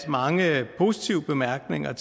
mange positive bemærkninger